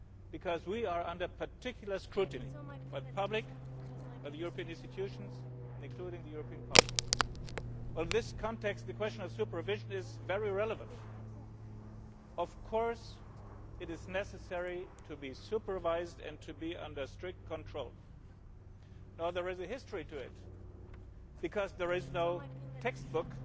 Bank, because we are under particular scrutiny from the public and the European institutions, including the European Parliament. In this context the question of supervision is very relevant. Of course it is necessary to be supervised and to be under strict control. Now there is a history to it, because there is